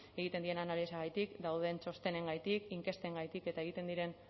egiten diren analisiagatik dauden txostenengatik inkestengatik eta egiten diren